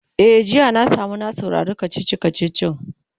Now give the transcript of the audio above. e jiya na samu na saurari kachichi kachichin